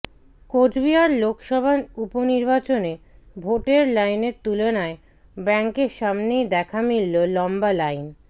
কোচবিহার লোকসভা উপনির্বাচনে ভোটের লাইনের তুলনায় ব্যাংকের সামনেই দেখা মিলল লম্বা লাইন